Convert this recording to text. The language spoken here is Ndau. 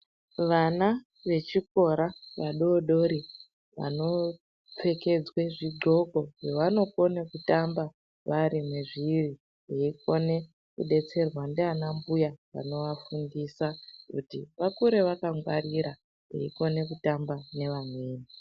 Vana vechikora vadoodori vanopfekedzwa zvigxoko zvavanokona kutamba vari mwezviri veikone kudetserwa ndianambuya vanovafundisa kuti vakure vakangwarira veikona kutamba nevamweni.